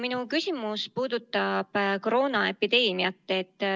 Minu küsimus puudutab aga koroonaepideemiat.